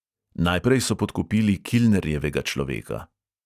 Najprej so podkupili kilnerjevega človeka.